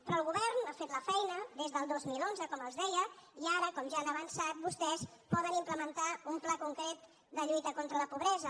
però el govern ha fet la feina des del dos mil onze com els deia i ara com ja han avançat vostès poden implementar un pla concret de lluita contra la pobresa